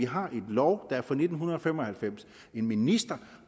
har en lov der er fra nitten fem og halvfems en minister